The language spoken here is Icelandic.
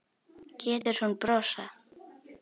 Getur hún brosað?